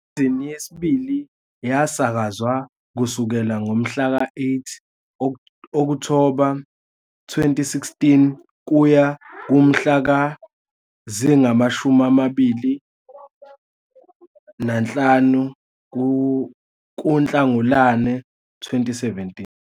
Isizini yesibili yasakazwa kusukela ngomhlaka 8 Okthoba 2016 kuya kumhla zingama-25 kuNhlangulana 2017.